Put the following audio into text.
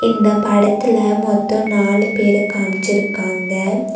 இந்த படத்துல மொத்தோ நாலு பேர காம்ச்சுருக்காங்க.